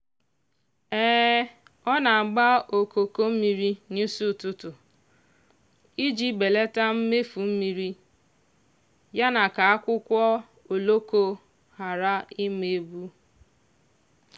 ọ na-agba okoko mmiri n'isi ụtụtụ iji belata mmefu mmiri ya na ka akwụkwọ oloko ghara ịma ebu.